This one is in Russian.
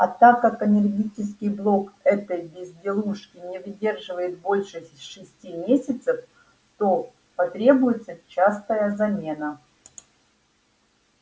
а так как энергетический блок этой безделушки не выдерживает больше шести месяцев то потребуется частая замена